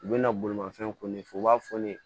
U bɛna bolimafɛnw kun ne fɛ u b'a fɔ ne ye